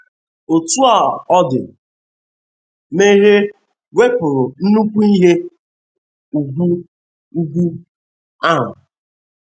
Otú ọ dị, mmehie 'wepụrụ nnukwu ihe ùgwù ùgwù ahụ.